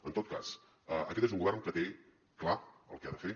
en tot cas aquest és un govern que té clar el que ha de fer